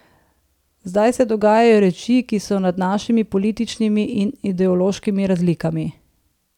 Zdaj se dogajajo reči, ki so nad našimi političnimi in ideološkimi razlikami.